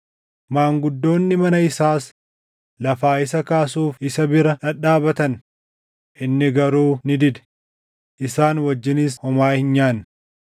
Maanguddoonni mana isaas lafaa isa kaasuuf isa bira dhadhaabatan; inni garuu ni dide; isaan wajjinis homaa hin nyaanne.